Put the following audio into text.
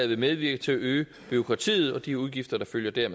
vil medvirke til at øge bureaukratiet og de udgifter der følger